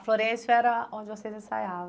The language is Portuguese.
A Florêncio era onde vocês ensaiavam.